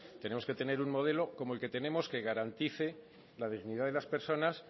tenemos que tener un modelo como el que tenemos que garantice la dignidad de las personas